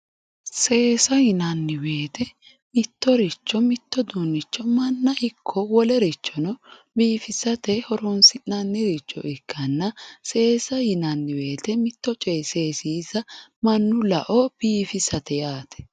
Seesa yinanniwoyte mittoricho manna ikko wolerichono biifisate horoonsi'nanniricho ikkanna seesa yinayiwoyite mitto coyi seesiisa mannu lao biifisate yaate.